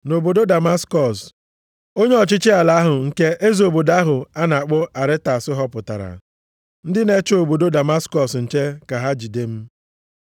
Nʼobodo Damaskọs, onye ọchịchị ala ahụ nke eze obodo ahụ a na-akpọ Aretas họpụtara, ndị na-eche obodo Damaskọs nche ka ha jide m.